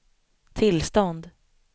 tillstånd